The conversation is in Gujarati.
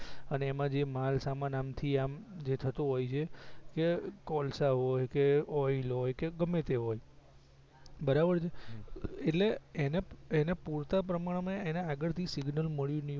અને જેમાં માલસામાન આમ થી આમ જે થતો હોય છે એ કોલસા હોય કે ઓઈલ હોય કે ગમેતે હોય બરાબર છે એટલે એને એને પૂરતા પ્રમાણ માં એને આગળ થી સિગ્નલ મળ્યું ની હોય